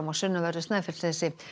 á sunnanverðu Snæfellsnesi